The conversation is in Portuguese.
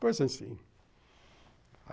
Coisa assim.